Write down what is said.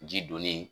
Ji donni